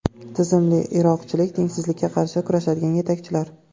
Tizimli irqchilik va tengsizlikka qarshi kurashadigan yetakchilar.